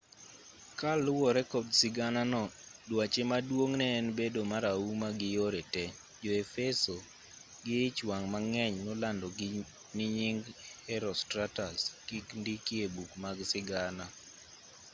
kaluwore kod siganano duache maduong' ne en bedo marahuma gi yore te jo-efeso gi ich wang' mang'eny nolando ni nying herostratus kik ndiki e buge mag sigana